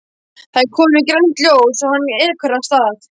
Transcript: Það er komið grænt ljós og hann ekur af stað.